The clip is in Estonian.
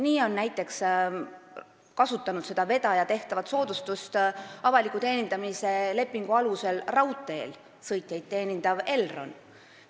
Nii on näiteks seda vedaja tehtavat soodustust kasutanud avaliku teenindamise lepingu alusel raudteel sõitjaid teenindav Elron.